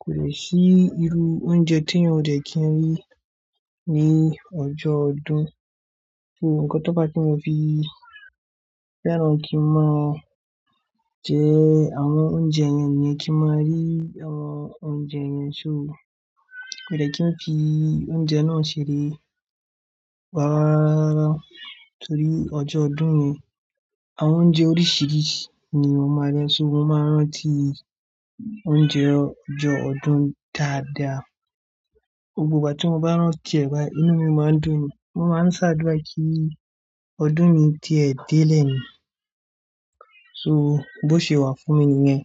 Kò lè sí irú oúnjẹ tí yẹn ò dẹ̀ kí ń rí ní ọjọ́ ọdún. Ní nkan tó bá tí mo fi fẹ́ràn kí n máa jẹ àwọn oúnjẹ yẹn ni kí n máa rí àwọn oúnjẹ yẹn. So kò dè kí n fi oúnjẹ náà ṣeré mọ́ rárá rara rara torí ọjọ́ ọdún ni. Àwọn oúnjẹ oríṣìíríṣìí ni mọ́ máa rí ṣo mo máa ń rántí oúnjẹ ọjọ́ ọdún dáadáa. Gbogbo ìgbà tí mo bá ń rántí ẹ̀ báyìí inú mi máa ń dùn ni. Mo máa ń ṣàdúrà kí ọdún mi ti ẹ̀ dè lẹ́ni. So bó ṣe wà fún mi nìyẹn.